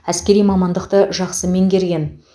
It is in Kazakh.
әскери мамандықты жақсы меңгерген